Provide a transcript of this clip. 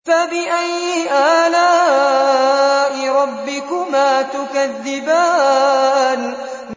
فَبِأَيِّ آلَاءِ رَبِّكُمَا تُكَذِّبَانِ